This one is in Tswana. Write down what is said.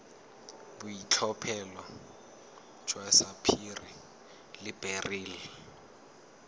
boitlhophelo jwa sapphire le beryl